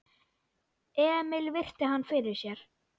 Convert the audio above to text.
Emil virti hann fyrir sér.